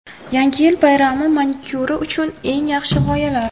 Yangi yil bayrami manikyuri uchun eng yaxshi g‘oyalar .